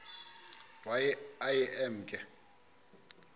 waye aye emke